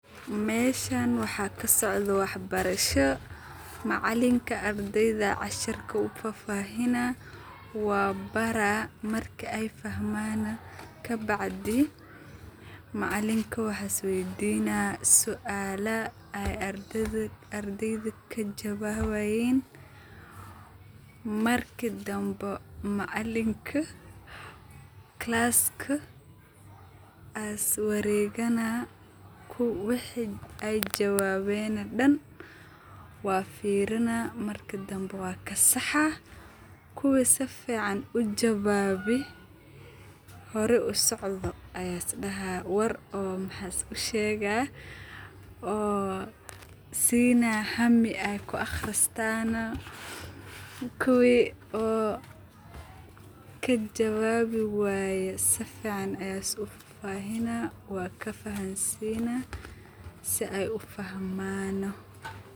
Meeshan waxa sacdoh wax barashoo macalinka ardeyda cashirka u fafahinaya wa baara marka Aya fahmaan kabacdhi macalinka waxa suala weedinah ay ardeyda kajawawayin marki dambi macalinka calska as wareegana kiwi wixi ayjawabeen oo Dan wabfeerinah marka dambi wakasaxaa kuwa sufican u jawabay hori u socda Aya isdaha war maxas u sheegah oo siinah haami ay ku aqahristaan kuwee oo kajawabi wayeen sufican Aya ufafahina Wana kafahansinah si ay u fahman .